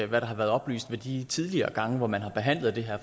hvad der har været oplyst ved de tidligere gange hvor man har behandlet det her